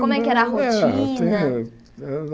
Como é que era a rotina?